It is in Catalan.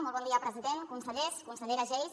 molt bon dia president consellers consellera geis